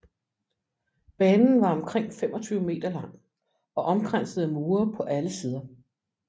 Banen var omkring 25 meter lang og omkranset af mure på alle sider